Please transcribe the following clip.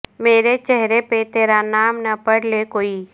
میرے چہرے پہ ترا نام نہ پڑھ لے کوئی